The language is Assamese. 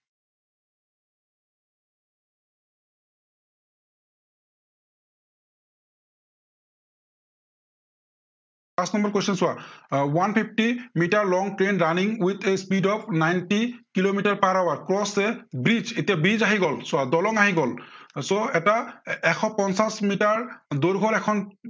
পাঁচ number question চোৱা আহ one fifty metre long a train running with a speed of ninety kilometre per hour cross a bridge এতিয়া bridge আহি গল চোৱা। দলং আহি গল so এটা এশ পঞ্চাশ মিটাৰ দৈৰ্ঘ্য়ৰ এখন